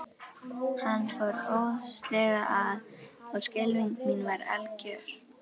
Hann fór óðslega að og skelfing mín var algjör.